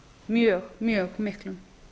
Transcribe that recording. mjög mjög miklum